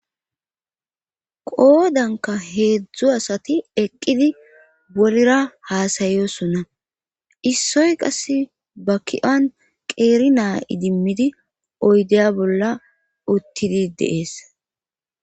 qoodanka heedzdzu asati eqqidi worera haasayosonna issoy qass ba ki7an qeeri naa idimmidi oydeya bolla uttidi deees